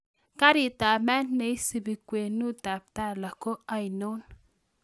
Karitab maat neisipi kwenutab tala ko ainon